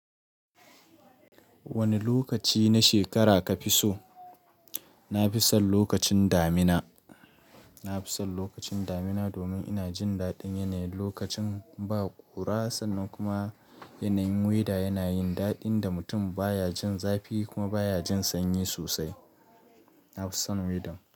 Wane lokaci na shekara kafi so? Nafison lokacin damina, nafison lokacin damina domin ina jin daɗin yanayin lokacin ba ƙura sannan kuma yanayin wida yana yin daɗin da mutum baya jin zafi kuma baya jin sanyi sosai. Nafison widan.